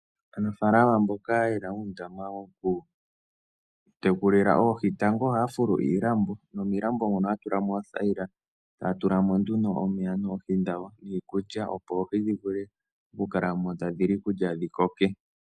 Aanafalama mboka ye na uundama wokutekulila oohi tango ohaya fulu iilambo nomiilambo mono ohaya tula mo oothayila taya tula mo nduno omeya noohi dhawo niikulya, opo oohi dhi vule okukala mo tadhi li iikulya dhi koke.